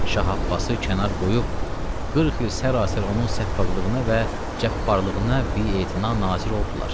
Şah Abbası kənar qoyub 40 il sərasər onun səffaqlığına və cəbbərlığına bietina nazir oldular.